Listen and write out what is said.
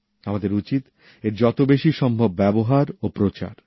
আমাদের উচিৎ এর যত বেশি সম্ভব ব্যবহার ও প্রচার